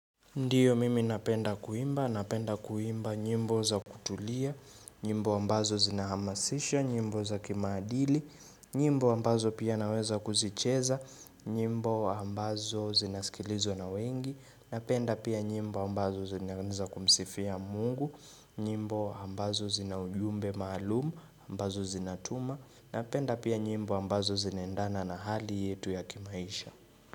Ndiyo mimi napenda kuimba, napenda kuimba nyimbo za kutulia, nyimbo ambazo zina hamasisho, nyimbo za kimaadili, nyimbo ambazo pia naweza kuzicheza, nyimbo ambazo zinasikilizwa na wengi, napenda pia nyimbo ambazo zinaeza kumsifia mungu, nyimbo ambazo zina ujumbe maalumu, ambazo zinatuma, napenda pia nyimbo ambazo zinaendana na hali yetu ya kimaisha.